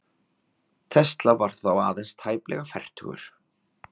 Tesla var þá aðeins tæplega fertugur.